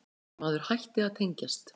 Maður hætti að tengjast.